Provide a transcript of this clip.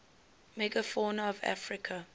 megafauna of africa